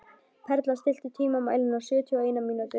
Perla, stilltu tímamælinn á sjötíu og eina mínútur.